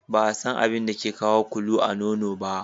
Ba a San abin da ke kawo ƙulu a nono ba.